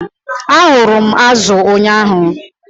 Arụrụ m azu ụnyaahụ.